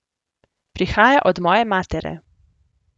Prihaja od moje matere.